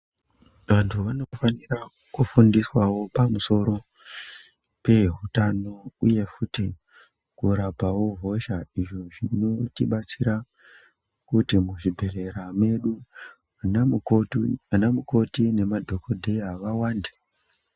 Vanthu vanofanira kufundiswawo pamusoro pehutano, uye futi kurapawo hosha, izvo zvinotibatsira kuti muzvibhedhlera mwedu, anamukoti nemadhokodheya vawande.